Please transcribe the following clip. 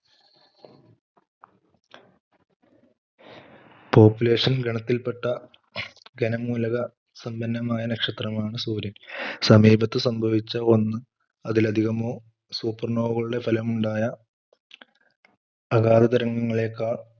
population ഗണത്തിൽ പെട്ട ഖനംമൂലക സമ്പന്നമായ നക്ഷത്രമാണ് സൂര്യൻ. സമീപത്ത് സംഭവിച്ച ഒന്നോ അതിലധികമോ super nova കളുടെ ഫലം ഉണ്ടായ അകാല തരംഗങ്ങളേക്കാൾ,